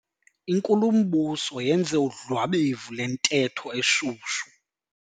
Inkulumbuso yenze udlwabevu lwentetho eshushu.